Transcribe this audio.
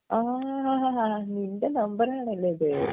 ആഹ്‌ നിൻ്റെ നമ്പറാണല്ലേ ഇത്